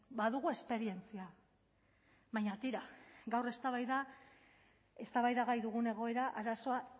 badugu esperientzia baina tira gaur eztabaida eztabaidagai dugun egoera arazoa